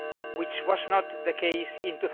which was not the case in